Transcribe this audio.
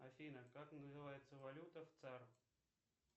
афина как называется валюта в цар